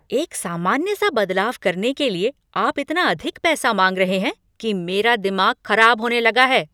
एक सामान्य सा बदलाव करने के लिए आप इतना अधिक पैसा मांग रहे हैं कि मेरा दिमाग खराब होने लगा है।